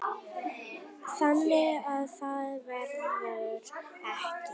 Þannig að það verður ekki.